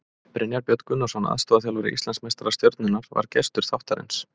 Brynjar Björn Gunnarsson, aðstoðarþjálfari Íslandsmeistara Stjörnunnar, var gestur þáttarins.